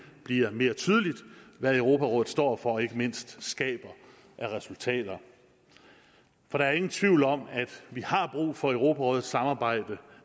bliver mere tydeligt hvad europarådet står for og ikke mindst skaber af resultater for der er ingen tvivl om at vi har brug for europarådets samarbejde